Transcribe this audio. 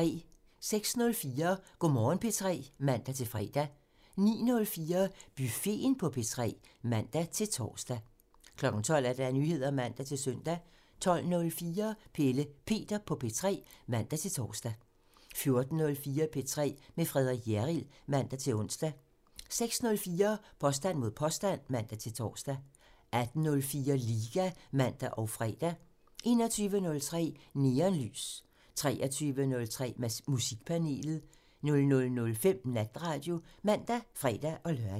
06:04: Go' Morgen P3 (man-fre) 09:04: Buffeten på P3 (man-tor) 12:00: Nyheder (man-søn) 12:04: Pelle Peter på P3 (man-tor) 14:04: P3 med Frederik Hjerrild (man-ons) 16:04: Påstand mod påstand (man-tor) 18:04: Liga (man og fre) 21:03: Neonlys (man) 23:03: Musikpanelet (man) 00:05: Natradio (man og fre-lør)